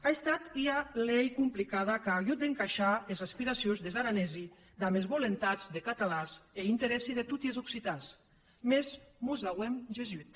a estat ua lei complicada qu’a agut d’encaishar es aspiracions des aranesi damb es volentats de catalans e es interèssi de toti es occitans mès mos n’auem gessut